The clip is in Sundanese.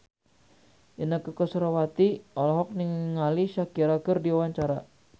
Inneke Koesherawati olohok ningali Shakira keur diwawancara